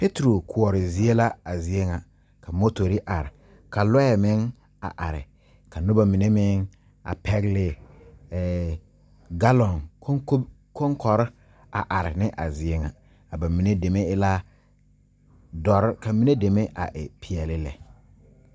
Pɛtro kure zie la a zie ŋa. Ka motore are. Ka lɔe meŋ a are. Ka noba mene meŋ a pɛgle eɛ galon konkore a are ne a zie ŋa. Ka ba mene dɛme e la duore ka mene dɛme a e piɛle lɛ.